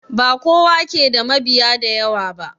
Bakowa ke da mabiya da yawa ba